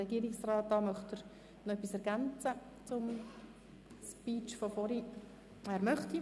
Somit hat der Herr Regierungsrat das Wort.